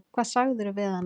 Hvað sagðirðu við hana?